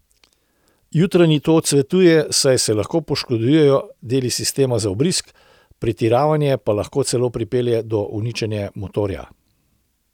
Jutarnji to odsvetuje, saj se lahko poškodujejo deli sistema za vbrizg, pretiravanje pa lahko celo pripelje do uničenja motorja.